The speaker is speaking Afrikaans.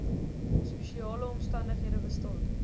spesiale omstandighede bestaan